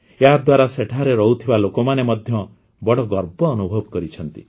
ଏହାଦ୍ୱାରା ସେଠାରେ ରହୁଥିବା ଲୋକମାନେ ମଧ୍ୟ ବଡ଼ ଗର୍ବ ଅନୁଭବ କରିଛନ୍ତି